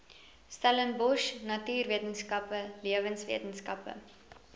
stellenbosch natuurwetenskappe lewenswetenskappe